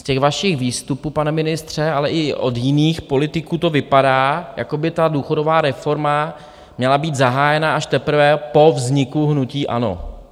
Z těch vašich výstupů, pane ministře, ale i od jiných politiků, to vypadá, jako by ta důchodová reforma měla být zahájena až teprve po vzniku hnutí ANO.